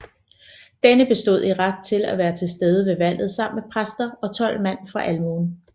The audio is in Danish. Denne bestod i ret til at være tilstede ved valget sammen med præster og tolv mand fra almuen